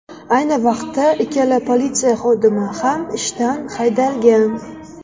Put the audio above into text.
Ayni vaqtda ikkala politsiya xodimi ham ishdan haydalgan.